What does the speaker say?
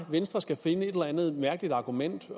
venstre skal finde et eller andet mærkeligt argument